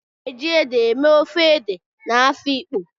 A na-eji ede eme ofe ede na Afikpo